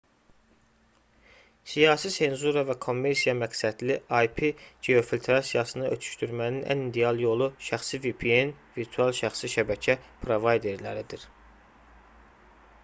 siyasi senzura və kommersiya məqsədli ip geofiltrasiyasını ötüşdürmənin ən ideal yolu şəxsi vpn virtual şəxsi şəbəkə provayderləridir